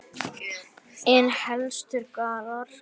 En helstu gallar?